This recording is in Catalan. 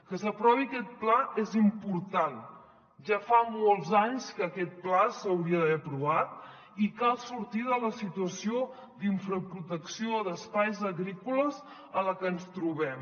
que s’aprovi aquest pla és important ja fa molts anys que aquest pla s’hauria d’haver aprovat i cal sortir de la situació d’infraprotecció d’espais agrícoles en la que ens trobem